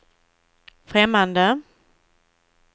främmande